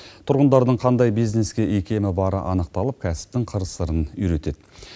тұрғындардың қандай бизнеске икемі бары анықталып кәсіптің қыр сырын үйретеді